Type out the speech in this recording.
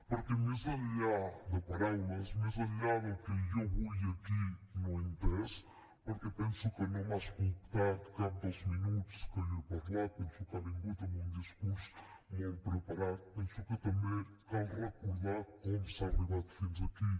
perquè més enllà de paraules més enllà del que jo avui aquí no he entès perquè penso que no m’ha escoltat cap dels minuts que jo he parlat penso que ha vingut amb un discurs molt preparat penso que també cal recordar com s’ha arribat fins aquí